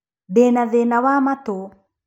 Ndĩ na thĩna wa matũ.